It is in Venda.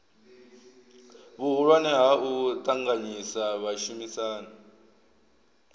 vhuhulwane ha u ṱanganyisa vhashumisani